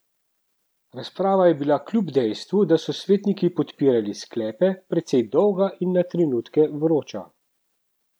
Razprava je bila kljub dejstvu, da so svetniki podpirali sklepe, precej dolga in na trenutke vroča.